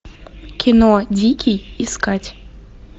кино дикий искать